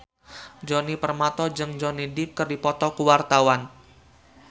Djoni Permato jeung Johnny Depp keur dipoto ku wartawan